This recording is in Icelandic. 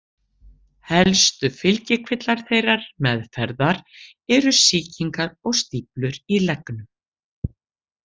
Helstu fylgikvillar þeirrar meðferðar eru sýkingar og stíflur í leggnum.